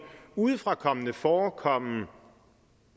udefrakommende forekomme